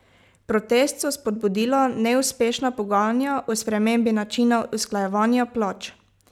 Protest so spodbudila neuspešna pogajanja o spremembi načina usklajevanja plač.